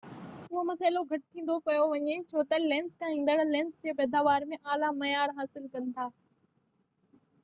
اهو مسئلو گهٽ ٿيندو پيو وڃي ڇو تہ لينس ٺاهيندڙ لينس جي پئداوار ۾ اعليٰ معيار حاصل ڪن ٿا